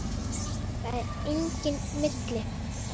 Það er enginn milli